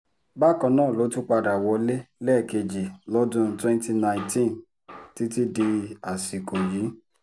bákan náà ló tún padà wọlé lẹ́ẹ̀kejì lọ́dún twenty nineteen títí di àsìkò yìí